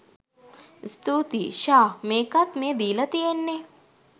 ස්තුතියි! ෂාහ්! මේකත් මේ දීල තියෙන්නේ